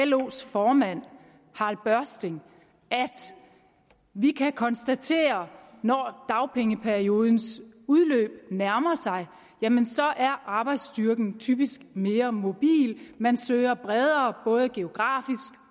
los formand harald børsting vi kan konstatere at når dagpengeperiodens udløb nærmer sig jamen så er arbejdsstyrken typisk mere mobil man søger bredere både geografisk